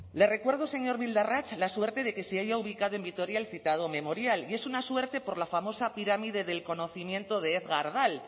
le recuerdo señor bildarratz la suerte de que si haya ubicado en vitoria el citado memorial y es una suerte por la famosa pirámide del conocimiento de egar dale